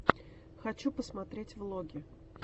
хочу посмотреть влоги